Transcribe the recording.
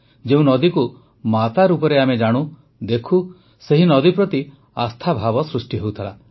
ଯେଉଁ ନଦୀକୁ ମାତା ରୂପେ ଆମେ ଜାଣୁ ଦେଖୁ ସେହି ନଦୀ ପ୍ରତି ଆସ୍ଥାଭାବ ସୃଷ୍ଟି ହେଉଥିଲା